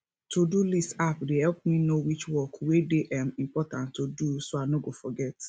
todolist app dey help me know which work wey dey um important to do so i no go forget